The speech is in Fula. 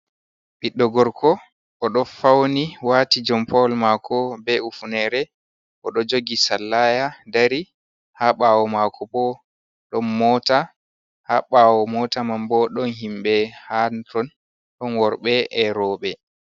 Ɓiɗɗo gorko oɗo fauni wati jompawol mako be hufunere, oɗo jogi sallaya dari. Ha ɓawo mako bo ɗon mota, ha ɓawo mota man bo ɗon himɓe ha ton; ɗon worɓe e'roɓe.